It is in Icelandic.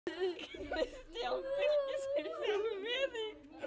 Kristján: Fylgist þið sjálfir með því?